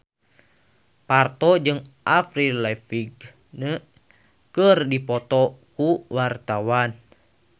Parto jeung Avril Lavigne keur dipoto ku wartawan